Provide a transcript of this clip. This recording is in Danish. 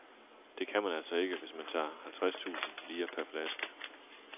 Det kan man altså ikke, hvis man tager halvtreds tusind lire per flaske.